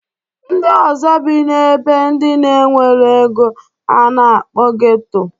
Ndị ọzọ bi n'ebe ndị na-enwero ego a na-akpọ geto.